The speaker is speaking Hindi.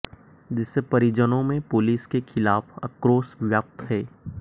जिससे परिजनों में पुलिस के खिलाफ आक्रोश व्याप्त है